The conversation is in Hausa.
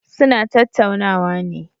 Suna tattaunawa ne.